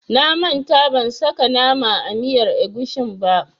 Na manta ban saka nama a miyar agushin ba.